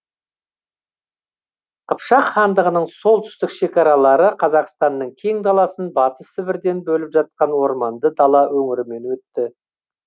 қыпшақ хандығының солтүстік шекаралары қазақстанның кең даласын батыс сібірден бөліп жатқан орманды дала өңірімен өтті